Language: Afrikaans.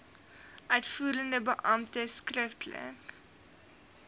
uitvoerende beampte skriftelik